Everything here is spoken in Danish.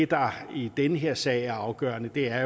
der i den her sag er afgørende er